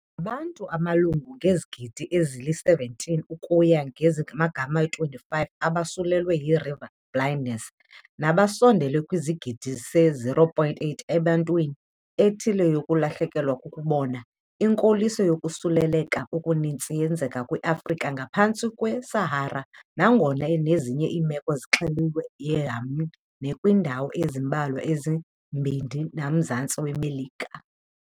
Ngabantu abamalunga nezigidi ezili-17 ukuya kwezingama-25 abosulelwe yi-river blindness, nabasondele kwisigidi se-0.8 abanentwana ethile yokulahlekelwa kukubona. Inkoliso yokosuleleka okuninzi yenzeka kwiAfrika engaphantsi kweSahara, nangona nezinye iimeko zixeliwe eYemen nakwiindawo ezimbalwa ezikukuMbindi nakuMzantsi weMelika.